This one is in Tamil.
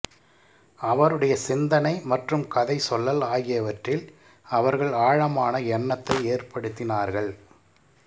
அவருடைய சிந்தனை மற்றும் கதை சொல்லல் ஆகியவற்றில் அவர்கள் ஆழமான எண்ணத்தை ஏற்படுத்தினார்கள்